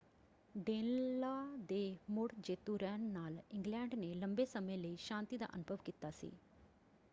ਡੇਨਲਾਅ ਦੇ ਮੁੜ ਜੇਤੂ ਰਹਿਣ ਨਾਲ ਇੰਗਲੈਂਡ ਨੇ ਲੰਬੇ ਸਮੇਂ ਲਈ ਸ਼ਾਂਤੀ ਦਾ ਅਨੁਭਵ ਕੀਤਾ ਸੀ।